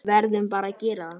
Verðum bara að gera það.